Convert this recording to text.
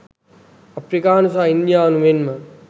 අප්‍රිකානු හා ඉන්දියානු මෙන්ම